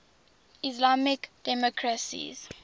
islamic democracies